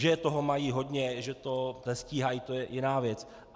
Že toho mají hodně, že to nestíhají, to je jiná věc.